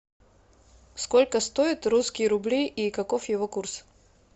сколько стоят русские рубли и каков его курс